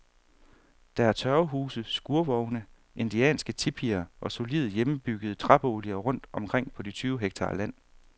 Der er tørvehuse, skurvogne, indianske tipier og solide, hjemmebyggede træboliger rundt omkring på de tyve hektar land.